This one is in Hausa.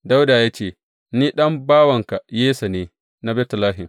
Dawuda ya ce, Ni ɗan bawanka Yesse ne, na Betlehem.